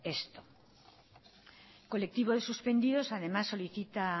esto el colectivo de suspendidos además solicita